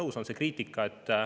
Üks on see kriitika.